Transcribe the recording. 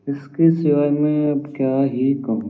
इसके सिवाय मैं अब क्या ही कहूँ --